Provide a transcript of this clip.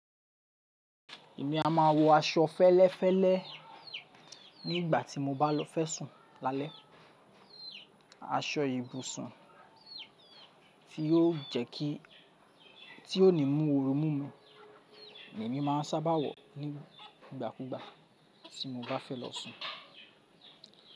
Èmi a máa wọ aṣọ fẹ́lẹ́fẹ́lẹ́ nígbà tí mo bá lo fẹ́ sùn lálẹ́. Aṣọ ibùsùn tí yóò jẹ́ kí tí ó ní mú oru mú mi. Lemi màá n sábà wọ̀ ní ìgbàkúgbà tí mo bá fẹ́ lọ sùn.